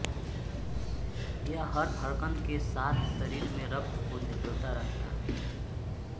यह हर धड़कन के साथ शरीर में रक्त को धकेलता रहता है